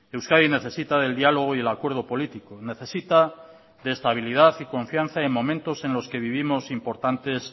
euskadi necesita del diálogo y del acuerdo político necesita de estabilidad y de confianza en los momentos que vivimos importantes